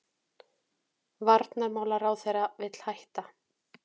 Varnarmálaráðherra vill hætta